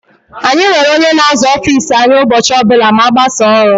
Anyị nwere ónyé na-aza ọffici anyị ụbọchị ọbula ma agbasaaa ọrụ.